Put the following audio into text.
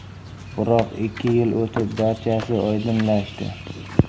Biroq ikki yil o‘tib, barchasi oydinlashdi.